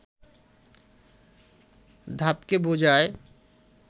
ধাপকে বোঝায়